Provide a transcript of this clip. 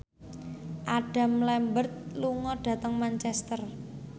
Adam Lambert lunga dhateng Manchester